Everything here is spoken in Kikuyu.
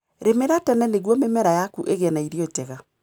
Rĩmĩra tene nĩguo mĩmera yaku ĩgie na ĩrio njega.